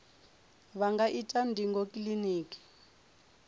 vha nga ita ndingo kiliniki